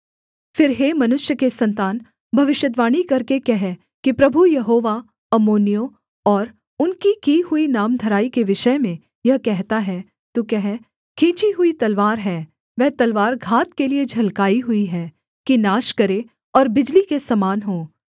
फिर हे मनुष्य के सन्तान भविष्यद्वाणी करके कह कि प्रभु यहोवा अम्मोनियों और उनकी की हुई नामधराई के विषय में यह कहता है तू कह खींची हुई तलवार है वह तलवार घात के लिये झलकाई हुई है कि नाश करे और बिजली के समान हो